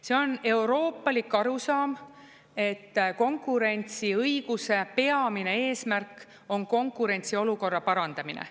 See on euroopalik arusaam, et konkurentsiõiguse peamine eesmärk on konkurentsiolukorra parandamine.